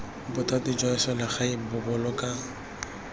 bothati jwa selegae bo boloka